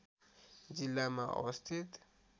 जिल्लामा अवस्थित